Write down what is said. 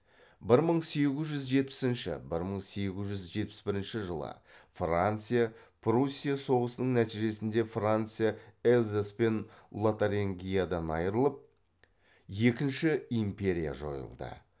бір мың сегіз жүз жетпісінші бір мың сегіз жүз жетпіс бірінші жылы франция пруссия соғысының нәтижесінде франция эльзас пен лотарингиядан айрылып екінші империя жойылды